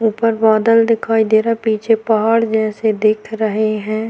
ऊपर बादल दिखाई दे रहा है पीछे पहाड़ जैसे दिख रहे हैं।